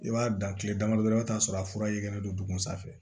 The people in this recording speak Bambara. I b'a dan kile dama dama i bi t'a sɔrɔ a fura yelen don duguma sanfɛ